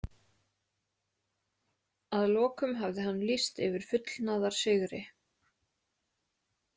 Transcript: Að lokum hafði hann lýst yfir fullnaðarsigri.